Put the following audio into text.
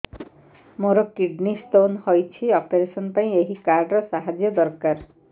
ମୋର kidney stone ହଇଛି operation ପାଇଁ ଏହି କାର୍ଡ ର ସାହାଯ୍ୟ ଦରକାର